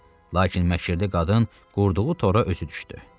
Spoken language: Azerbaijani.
Lakin məkirli qadın qurduğu tora özü düşdü.